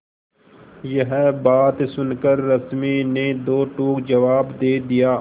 यह बात सुनकर रश्मि ने दो टूक जवाब दे दिया